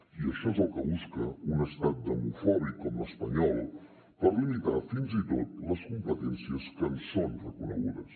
i això és el que busca un estat demofòbic com l’espanyol per limitar fins i tot les competències que ens són reconegudes